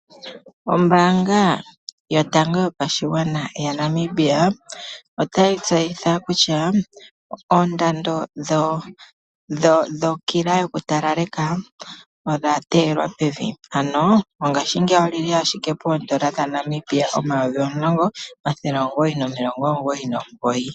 Ombanga yotango yopashigwana yaNamibia otayi tseyitha kutya oondando dhokila yoku talaleka odha telwa pevi dhono mongashingeyi odhili 10999.